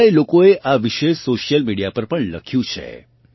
કેટલાય લોકોએ આ વિશે સોશિયલ મિડિયા પર પણ લખ્યું છે